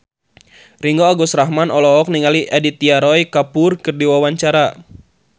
Ringgo Agus Rahman olohok ningali Aditya Roy Kapoor keur diwawancara